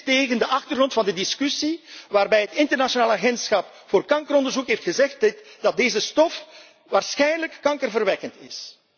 Dit tegen de achtergrond van de discussie waarbij het Internationale Agentschap voor Kankeronderzoek heeft gezegd dat deze stof waarschijnlijk kankerverwekkend